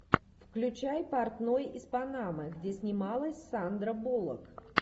включай портной из панамы где снималась сандра буллок